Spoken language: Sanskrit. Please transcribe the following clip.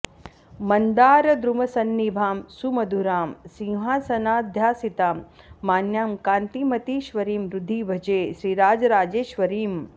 मन्दारद्रुमसन्निभां सुमधुरां सिंहासनाध्यासितां मान्यां कान्तिमतीश्वरीं हृदि भजे श्रीराजराजेश्वरीम्